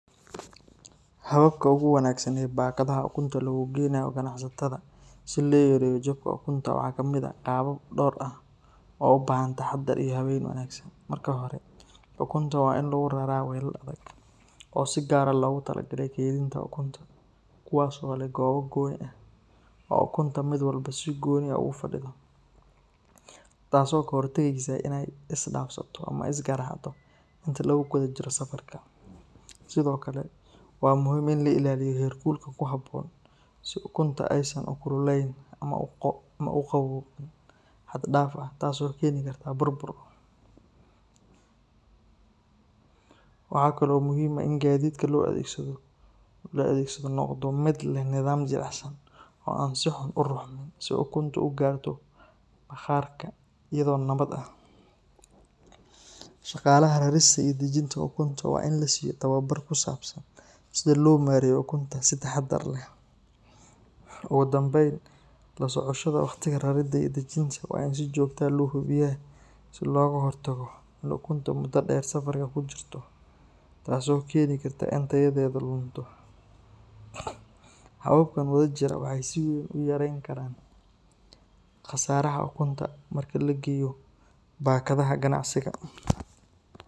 Hababka ugu wanaagsan ee bakadaha ukunta loogu geynayo ganacsatada si loo yareeyo jabka ukunta waxaa ka mid ah qaabab dhowr ah oo u baahan taxaddar iyo habeyn wanaagsan. Marka hore, ukunta waa in lagu raraa weelal adag oo si gaar ah loogu talagalay kaydinta ukunta, kuwaas oo leh goobo gooni ah oo ukunta mid walba si gooni ah ugu fadhido, taasoo ka hortagaysa in ay isdhaafsato ama is garaacdo inta lagu guda jiro safarka. Sidoo kale, waa muhiim in la ilaaliyo heerkulka ku habboon si ukunta aysan u kululeynin ama u qabooqin xad-dhaaf ah taasoo keeni karta burbur. Waxaa kale oo muhiim ah in gaadiidka loo adeegsado noqdo mid leh nidaam jilicsan oo aan si xun u ruxmin, si ukuntu u gaarto bakhaarka iyadoo nabad ah. Shaqaalaha rarista iyo dejinta ukunta waa in la siiyo tababar ku saabsan sida loo maareeyo ukunta si taxaddar leh. Ugu dambeyn, la socoshada waqtiga rarida iyo dejinta waa in si joogto ah loo hubiyaa si looga hortago in ukunta muddo dheer safarka ku jirto taasoo keeni karta in tayadeedu lunto. Hababkan wadajira waxay si weyn u yarayn karaan khasaaraha ukunta marka la geeyo bakadaha ganacsiga.